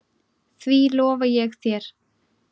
Því lofa ég þér